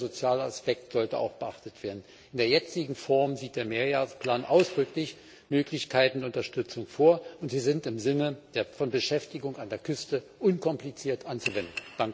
Der soziale Aspekt sollte auch beachtet werden. In der jetzigen Form sieht der Mehrjahresplan ausdrücklich Möglichkeiten der Unterstützung vor, und sie sind im Sinne von Beschäftigung an der Küste unkompliziert anzuwenden.